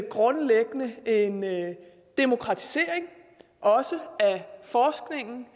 grundlæggende en demokratisering også af forskningen